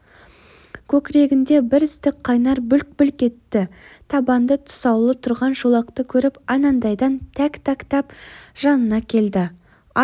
көкірегінде бір ыстық қайнар бүлк-бүлк етті табанда тұсаулы тұрған шолақты көріп анадайдан тәк-тәктап жанына келді ат